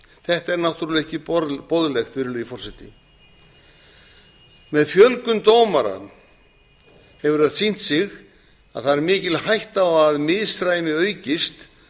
þetta er náttúrlega ekki boðlegt virðulegi forseti með fjölgun dómara hefur það sýnt sig að það er mikil hætta á að misræmi aukist